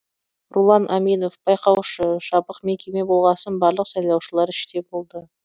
рулан аминов байқаушы жабық мекеме болғасын барлық сайлаушылар іште болды